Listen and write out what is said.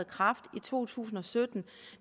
kraft i to tusind og sytten